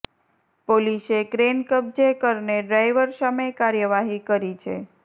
પોલીસે ક્રેઈન કબજે કરને ડ્રાયવર સામે કાર્યવાહી કરી છે